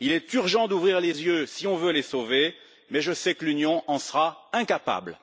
Il est urgent d'ouvrir les yeux si on veut les sauver, mais je sais que l'Union en sera incapable.